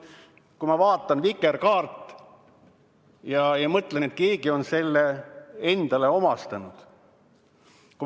Kui ma vaatan vikerkaart, siis ma mõtlen, et keegi on selle omastanud.